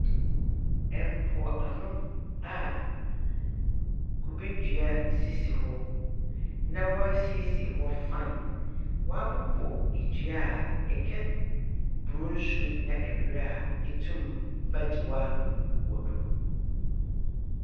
Mpoano a kubedua sisi hɔ, na wɔasiesie hɔ fine. Wɔabobɔ dua a, itwa bur nso na brɛ a, itum bɛgye ɔ'ahom. Wɔ do.